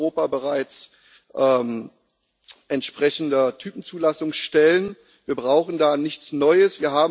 Wir haben in Europa bereits entsprechende Typzulassungsstellen, wir brauchen da nichts Neues.